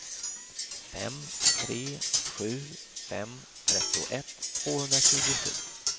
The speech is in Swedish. fem tre sju fem trettioett tvåhundratjugosju